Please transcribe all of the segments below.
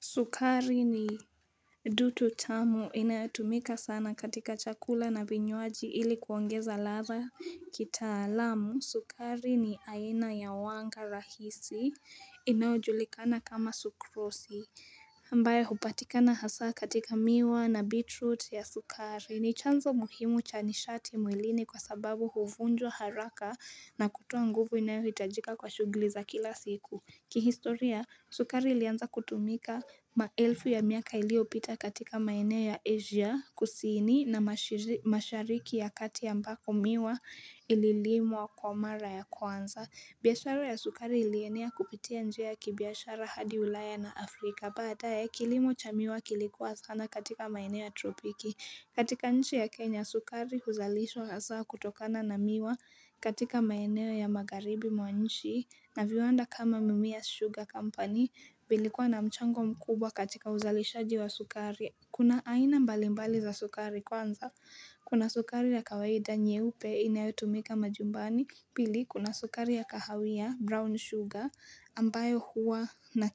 Sukari ni dutu tamu inayotumika sana katika chakula na vinywaji ili kuongeza ladha kitaalamu. Sukari ni aina ya wanga rahisi inayojulikana kama sukrosi. Ambayo hupatikana hasa katika miwa na beetroot ya sukari. Ni chanzo muhimu cha nishati mwilini kwasababu huvunjwa haraka na kutoa nguvu inayohitajika kwa shughuli za kila siku. Kihistoria, sukari ilianza kutumika maelfu ya miaka iliyopita katika maenea ya Asia kusini na mashariki ya kati ambako miwa ililimwa kwa mara ya kwanza. Biashara ya sukari ilienea kupitia njia ya kibiashara hadi ulaya na Afrika. Baadaye, kilimo cha miwa kilikuwa sana katika maenea ya tropiki. Katika nchi ya Kenya sukari huzalishwa hasa kutokana na miwa katika maeneo ya Magharibi mwa nchi na viwanda kama Mimias Sugar Company vilikuwa na mchango mkubwa katika uzalishaji wa sukari. Kuna aina mbalimbali za sukari kwanza. Kuna sukari ya kawaida nyeupe inayotumika majumbani. Pili kuna sukari ya kahawia brown sugar ambayo huwa na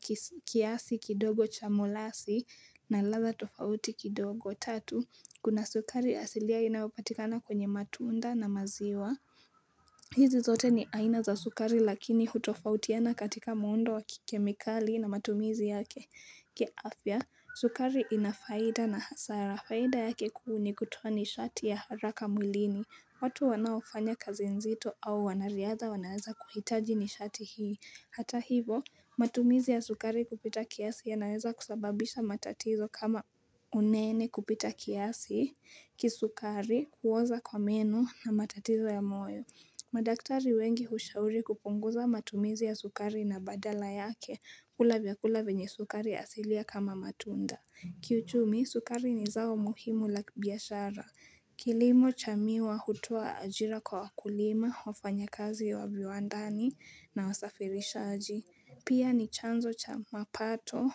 kiasi kidogo cha mulasi na ladha tofauti kidogo. Kuna sukari asilia inayopatikana kwenye matunda na maziwa hizi zote ni aina za sukari lakini hutofautiana katika muundo wa kikemikali na matumizi yake sukari ina faida na hasara, faida yake kuu ni kutoa nishati ya haraka mwlini. Watu wanaofanya kazi nzito au wanariadha wanaweza kuhitaji nishati hii. Hata hivyo, matumizi ya sukari kupita kiasi yanaweza kusababisha matatizo kama unene kupita kiasi kisukari, kuoza kwa meno na matatizo ya moyo. Madaktari wengi hushauri kupunguza matumizi ya sukari na badala yake kula vyakula vinye sukari asilia kama matunda. Kiuchumi, sukari ni zao muhimu la biashara kilimo cha miwa hutoa ajira kwa kulima, wafanyakazi wa viwandani na wasafirishaji Pia ni chanzo cha mapato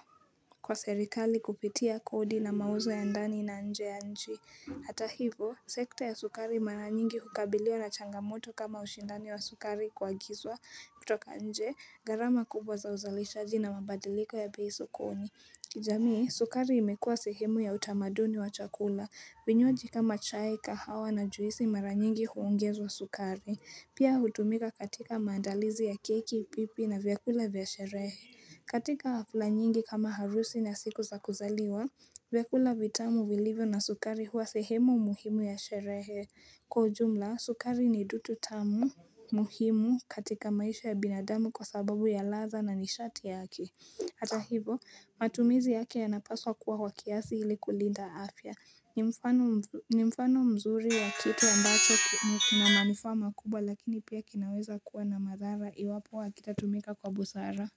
kwa serikali kupitia kodi na mauzo ya ndani na nje ya nchi. Hata hivyo, sekta ya sukari mara nyingi hukabiliwa na changamoto kama ushindani wa sukari kuagizwa kutoka nje. Gharama kubwa za uzalishaji na mabadiliko ya bei sokoni jamii sukari imekuwa sehemu ya utamaduni wa chakula vinywaji kama chai kahawa na juisi mara nyingi huongezwa sukari. Pia hutumika katika maandalizi ya keki, pipi na vyakula vya sherehe. Katika hafla nyingi kama harusi na siku za kuzaliwa vyakula vitamu vilivyo na sukari huwa sehemu muhimu ya sherehe. Kwa ujumla sukari ni dutu tamu, muhimu katika maisha ya binadamu kwasababu ya ladha na nishati yake Hata hivyo matumizi yake yanapaswa kuwa kwa kiasi ili kulinda afya ni mfano mzuri ya kitu ambacho ni kina manufaa makubwa lakini pia kinaweza kuwa na madhara iwapo hakitatumika kwa busara.